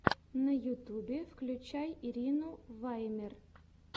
на ютюбе включай ирину ваймер